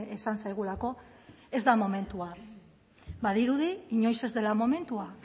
esan zaigulako ez da momentua badirudi inoiz ez dela momentua